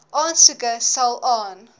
aansoeke sal aan